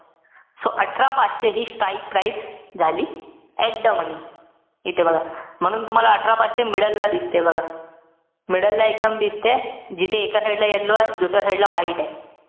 So अठरा पाचशे हि strike price झाली, at the money. इथे बघा. म्हणून तुम्हाला अठरा पाचशे middle ला दिसते, बघा. middle ला एकदम दिसतेय. जिथे एका side ला yellow ए. दुसऱ्या side ला white ए.